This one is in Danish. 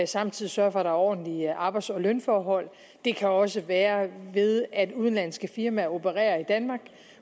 samtidig sørger for at der er ordentlige arbejds og lønforhold det kan også være ved at udenlandske firmaer opererer i danmark